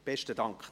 Besten Dank.